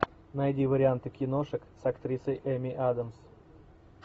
найди варианты киношек с актрисой эми адамс